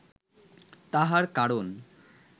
তাহার কারণ